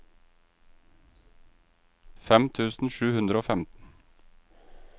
fem tusen sju hundre og femten